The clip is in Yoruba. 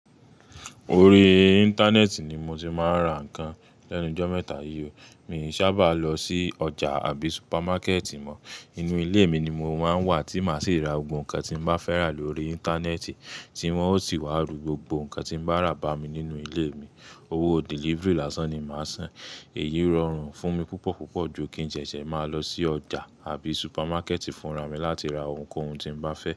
Orí Íńtánẹ́ẹ̀tì ni mo ti máa ń ra ǹkan lẹ́nu jọ́ mẹ́ta yí ò. Mi i sábà lọ sí ọjà tàbí super market mo inú ilé mi ni mo máa ń wà tí màá sì ra gbogbo ǹkan tí n bá fẹ́ rà lórí Íńtánẹ́ẹ̀tì tí wọ́n ó sì wá ru gbogbo ǹkan tí mo bá rà bá mi nínú ilé mi. Owó delivery làṣán ni màá san. Èyí rọrùn fún mi púpọ̀ púpọ̀ ju kí n ṣẹṣẹ máa lọ sí ọjà àbi supermákẹ́ètì fúnra mi láti ra ohunkóhun tí n bá fẹ́.